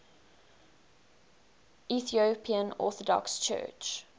ethiopian orthodox church